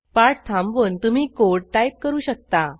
पाठ थांबवून तुम्ही कोड टाईप करू शकता